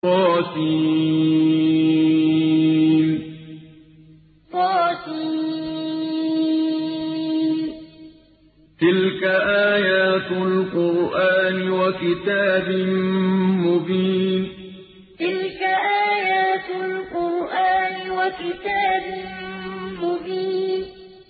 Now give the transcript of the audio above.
طس ۚ تِلْكَ آيَاتُ الْقُرْآنِ وَكِتَابٍ مُّبِينٍ طس ۚ تِلْكَ آيَاتُ الْقُرْآنِ وَكِتَابٍ مُّبِينٍ